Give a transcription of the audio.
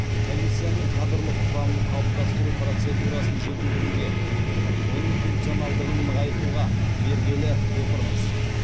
комиссияның кадрлық құрамын қалыптастыру процедурасын жетілдіруге оның функционалдығын нығайтуға бергелі отырмыз